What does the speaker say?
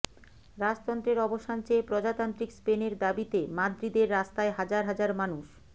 রাজতন্ত্রের অবসান চেয়ে প্রজাতান্ত্রিক স্পেনের দাবিতে মাদ্রিদের রাস্তায় হাজার হাজার মানুষ